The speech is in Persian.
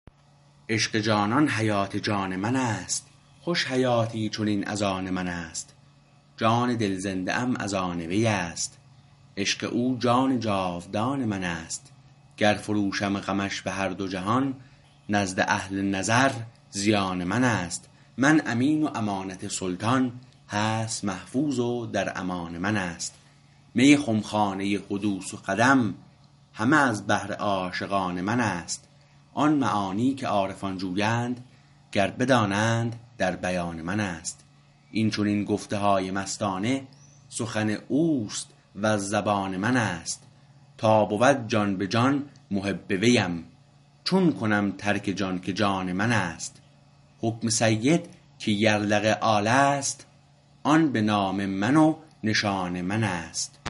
عشق جانان حیات جان من است خوش حیاتی چنین از آن منست جان دل زنده ام از آن ویست عشق او جان جاودان منست گر فروشم غمش بهر دو جهان نزد اهل نظر زیان منست من امین و امانت سلطان هست محفوظ و در امان منست می خمخانه حدوث و قدم همه از بهر عاشقان منست آن معانی که عارفان جویند گر بدانند در بیان منست این چنین گفته های مستانه سخن اوست وز زبان منست تا بود جان به جان محب ویم چون کنم ترک جان که جان منست حکم سید که یرلغ آل است آن به نام من و نشان منست